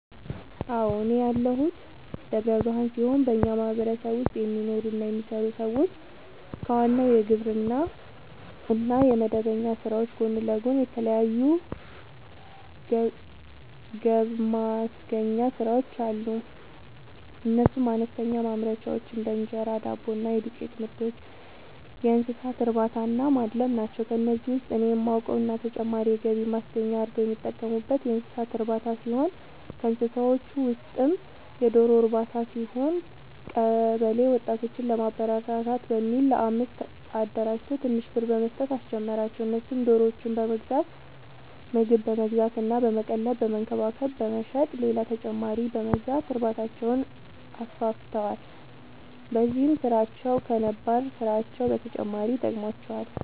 አዎ፤ እኔ ያለሁት ደብረ ብርሃን ሲሆን በኛ ማህበረሰብ ውስጥ የሚኖሩ እና የሚሰሩ ሰዎች ከዋናው የግብርና እና የመደበኛ ስራዎች ጎን ለጎን የተለያዩ ገብማስገኛ ስራዎች አሉ፤ እነሱም፦ አነስተኛ ማምረቻዎች(እንጀራ፣ ዳቦ እና የዱቄትምርቶች)፣የእንሰሳትእርባታናማድለብ ናቸው። ከነዚህ ውስጥ እኔ የማውቀው እና ተጨማሪ የገቢ ማስገኛ አርገው የሚጠቀሙበት የእንሰሳት እርባታ ሲሆን ከእንስሳዎቹ ውስጥም የዶሮ ርባታ ሲሆን፤ ቀበለ ወጣቶችን ለማበረታታት በሚል አንድ ለአምስት አደራጅቶ ትንሽ ብር በመስጠት አስጀመራቸው እነሱም ዶሮዎችን በመግዛት ምግብ በመግዛት እና በመቀለብ በመንከባከብ በመሸጥ ሌላ ተጨማሪ በመግዛት እርባታቸውን አስፋፍተዋል። በዚህም ስራቸው ከነባር ስራቸው በተጨማሪ ጠቅሞዋቸዋል።